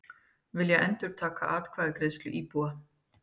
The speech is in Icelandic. Vilja endurtaka atkvæðagreiðslu íbúa